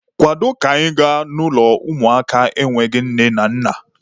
Kwado ka anyị gaa n'ụlọ ụmụaka enweghị nne na nna!